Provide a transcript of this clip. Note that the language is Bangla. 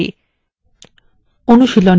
অনুশীলনী :